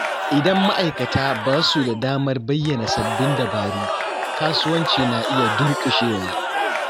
Idan ma’aikata ba su da damar bayyana sabbin dabaru, kasuwanci na iya durƙushewa.